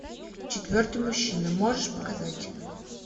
четвертый мужчина можешь показать